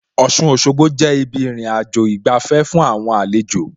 Ọ̀ṣun Òṣogbo jẹ́ ibi ìrìnàjò ìgbafẹ́ fún àwọn àlejò